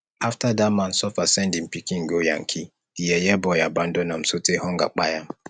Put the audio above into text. after dat man suffer send im pikin go yankee di yeye boy abandon am sotee hunger kpai am